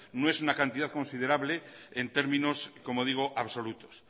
no es una cantidad considerable en términos como digo absolutos